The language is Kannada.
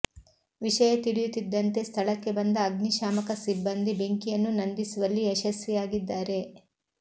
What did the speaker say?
ವಿಷಯ ತಿಳಿಯುತ್ತಿದ್ದಂತೆ ಸ್ಥಳಕ್ಕೆ ಬಂದ ಅಗ್ನಿಶಾಮಕ ಸಿಬ್ಬಂದಿ ಬೆಂಕಿಯನ್ನು ನಂದಿಸುವಲ್ಲಿ ಯಶಸ್ವಿಯಾಗಿದ್ದಾರೆ